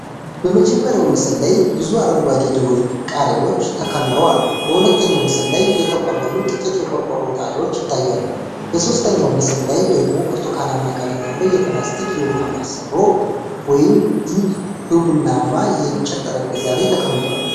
በመጀመሪያው ምስል ላይ ብዙ አረንጓዴ ደወል ቃሪያዎች ተከምረው አሉ። በሁለተኛው ምስል ላይ የተቆለሉ ጥቂት የቆርቆሮ ጣሪያዎች ይታያሉ። በሶስተኛው ምስል ላይ ደግሞ ብርቱካናማ ቀለም ያለው የፕላስቲክ የውኃ ማሰሮ (ጁግ) በቡናማ የእንጨት ጠረጴዛ ላይ ተቀምጧል።